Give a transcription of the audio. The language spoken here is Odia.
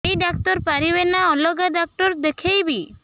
ଏଇ ଡ଼ାକ୍ତର ପାରିବେ ନା ଅଲଗା ଡ଼ାକ୍ତର ଦେଖେଇବି